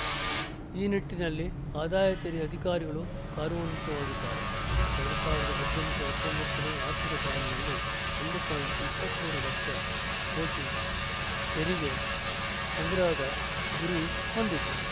ಈ ನಿಟ್ಟಿನಲ್ಲಿ ಆದಾಯ ತೆರಿಗೆ ಅಧಿಕಾರಿಗಳು ಕಾರ್ಯೋನ್ಮುಖವಾಗಿದ್ದಾರೆ ಎರಡ್ ಸಾವಿರದ ಹದಿನೆಂಟು ಹತ್ತೊಂಬತ್ತು ನೇ ಆರ್ಥಿಕ ಸಾಲಿನಲ್ಲಿ ಒಂದು ಪಾಯಿಂಟ್ ಇಪ್ಪತ್ತ್ ಮೂರು ಲಕ್ಷ ಕೋಟಿ ತೆರಿಗೆ ಸಂಗ್ರಹದ ಗುರಿ ಹೊಂದಿದ್ದು